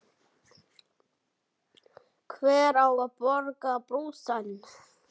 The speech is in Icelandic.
Hver á að borga brúsann?